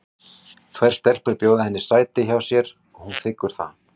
Tvær stelpur bjóða henni sæti hjá sér og hún þiggur það.